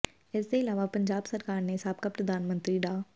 ਇਸਦੇ ਇਲਾਵਾ ਪੰਜਾਬ ਸਰਕਾਰ ਨੇ ਸਾਬਕਾ ਪ੍ਰਧਾਨ ਮੰਤਰੀ ਡਾ